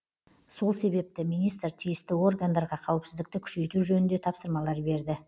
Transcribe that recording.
сол себепті министр тиісті органдарға қауіпсіздікті күшейту жөнінде тапсырмалар берді